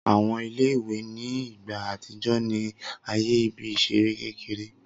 Awọn ìle-ìwe ni igba atijọ ni aaye ibi-iṣere kekere.